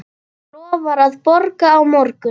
Lofar að borga á morgun.